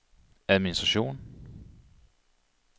administration